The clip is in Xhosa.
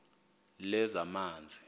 lezamanzi